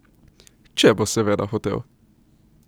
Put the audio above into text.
Če bo seveda hotel.